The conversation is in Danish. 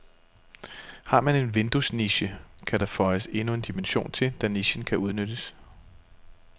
Har man en vinduesniche, kan der føjes endnu en dimension til, da nichen kan udnyttes.